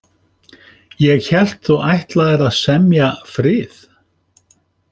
Ég hélt þú ætlaðir að semja frið.